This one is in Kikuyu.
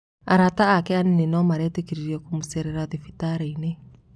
Arata ake anini nĩo maretĩkĩririo kũmũcerera thibitarĩinĩ.